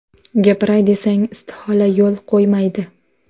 Gapiray desang, istihola yo‘l qo‘ymaydi.